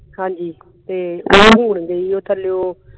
ਹਾਂਜੀ ਤੇ ਹੁਣ ਗਈ ਆ ਥੱਲੇ ਉਹ